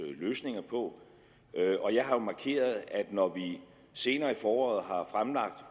løsninger på jeg har jo markeret at når vi senere i foråret har fremlagt